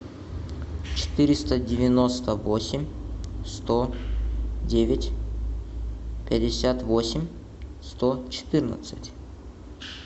четыреста девяносто восемь сто девять пятьдесят восемь сто четырнадцать